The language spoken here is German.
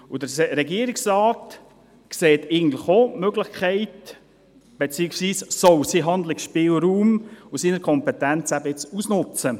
Der Regierungsrat sieht eigentlich auch die Möglichkeit, beziehungsweise er soll seinen Handlungsspielraum und seine Kompetenzen jetzt ausnützen.